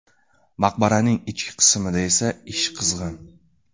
Maqbaraning ichki qismida esa ish qizg‘in.